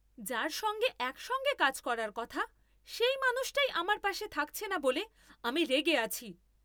যার সঙ্গে একসঙ্গে কাজ করার কথা সেই মানুষটাই আমার পাশে থাকছে না বলে আমি রেগে আছি।